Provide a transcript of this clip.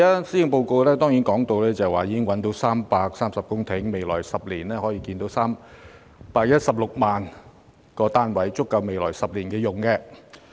施政報告提到，政府已覓得330公頃土地，未來10年可興建 316,000 個公營房屋單位，足夠未來10年使用。